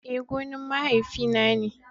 Eh, gonan mahaifiya na ne.